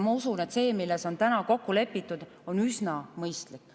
Ma usun, et see, milles on täna kokku lepitud, on üsna mõistlik.